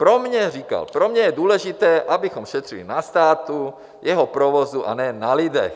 Pro mě - říkal - pro mě je důležité, abychom šetřili na státu, jeho provozu, a ne na lidech.